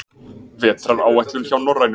Vetraráætlun hjá Norrænu